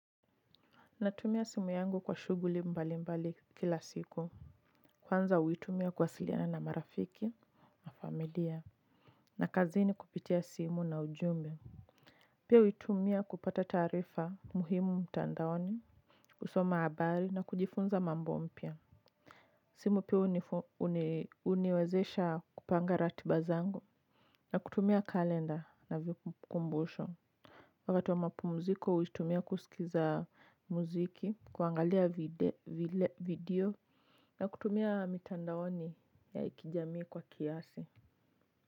Natumia simu yangu kwa shuguli mbali mbali kila siku. Kwanza huitumia kuwasiliana na marafiki na familia. Na kazini kupitia simu na ujumbe. Pia huitumia kupata taarifa muhimu mtandaoni. Kusoma habari na kujifunza mambo mpya. Simu pia huniwezesha kupanga ratiba zangu. Na kutumia kalenda na vikumbusho. Wakati wa mapumziko, huitumia kusikiza mziki, kuangalia video na kutumia mitandaoni ya kijamii kwa siasa.